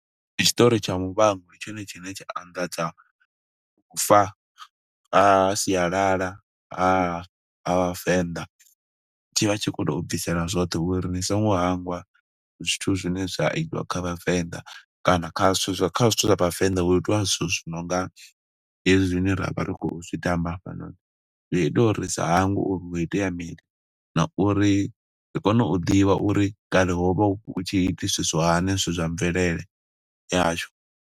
Ndi tshiṱori tsha muvhango, ndi tshone tshine tsha anḓadza u fa ha sialala ha ha Vhavenḓa, tshi vha tshi kho tou bvisela zwoṱhe uri ni songo hangwa zwithu zwine zwa itiwa kha Vhavenḓa, kana kha zwithu, kha zwithu zwa Vhavenḓa hu itiwa zwithu zwi nonga hezwi zwine ra vha ri khou zwitamba hafhanoni. Zwi ita uri sa hangwe uri ho itea mini, na uri ri kone u ḓivha uri kale ho vha hu tshi itisiswa zwithu hani, zwithu zwa mvelele ya hashu.